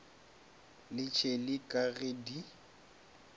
le tšeli ka ge di